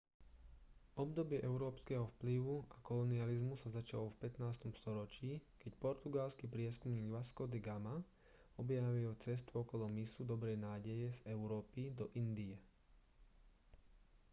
obdobie európskeho vplyvu a kolonializmu sa začalo v 15. storočí keď portugalský prieskumník vasco da gama objavil cestu okolo mysu dobrej nádeje z európy do indie